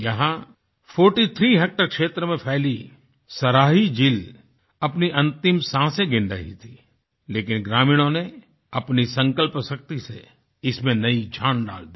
यहां 43 हेक्टेयर क्षेत्र में फैली सराही झील अपनी अंतिम सांसे गिन रही थी लेकिन ग्रामीणों ने अपनी संकल्प शक्ति से इसमें नई जान डाल दी